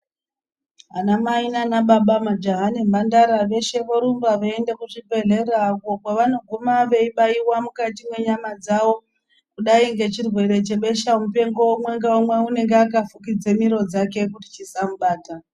Anamai nana baba, majaha nemhandara veshe vorumba veienda kuzvibhehlera uko kwavanoguma veibaiwa mukati mwenyama dzavo. Kudai ngechirwere chebesha mupengo umwe ngaumwe unenge akafukidza miro dzake kuti chisamubata.